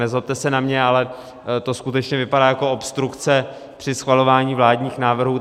Nezlobte se na mě, ale to skutečně vypadá jako obstrukce při schvalování vládních návrhů.